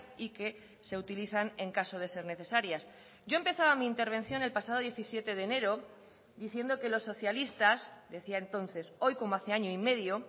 y que se utilizan en caso de ser necesarias yo empezaba mi intervención el pasado diecisiete de enero diciendo que los socialistas decía entonces hoy como hace año y medio